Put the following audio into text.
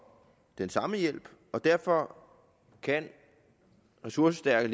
den samme hjælp og derfor kan ressourcestærke